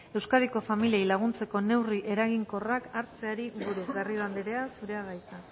euskadiko familiei laguntzeko neurri eraginkorrak hartzeari buruz garrido andrea zurea da hitza